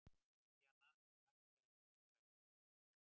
Bríanna, hækkaðu í græjunum.